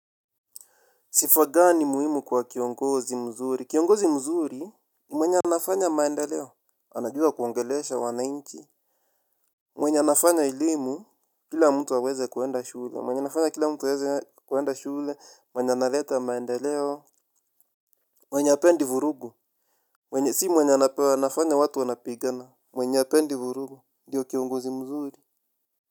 Sifa gani muhimu kwa kiongozi mzuri, kiongozi mzuri ni mwenye anafanya maendeleo, anajua kuongelesha wana inchi. Mwenye anafanya elimu, kila mtu aweze kuenda shule, mwenye nafanya kila mtu aweze kwenda shule, mwenye analeta maendeleo. Mwenye apendi vurugu, si mwenye anapewa, anafanya watu wanapigana, mwenye apendi vurugu, diyo kiongozi mzuri.